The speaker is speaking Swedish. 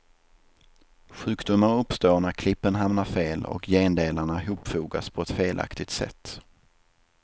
Sjukdomar uppstår när klippen hamnar fel och gendelarna hopfogas på ett felaktigt sätt.